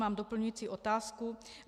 Mám doplňující otázku.